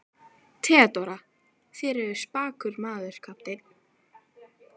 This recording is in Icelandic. THEODÓRA: Þér eruð spakur maður, kafteinn.